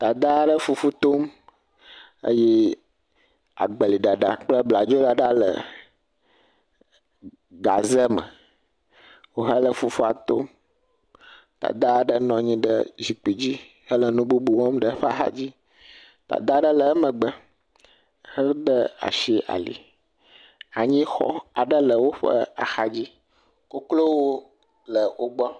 Dada aɖe le fufu tom eye agbeliɖaɖa kple bladzo ɖaɖa le gaze me wohe le fufua tom. Dada aɖe nɔ anyi ɖe zikpui dzi hele nu bubu wɔm ɖe eƒe axa dzi. Dada aɖe le emegbe hede asi ali. Anyixɔ aɖe le woƒe axa dzi. Koklowo le wogbɔ.